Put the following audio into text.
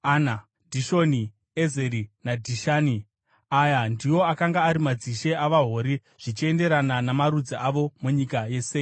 Dhishoni, Ezeri naDhishani. Aya ndiwo akanga ari madzishe avaHori zvichienderana namarudzi avo, munyika yaSeiri.